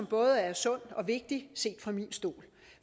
både sund og vigtig set fra min stol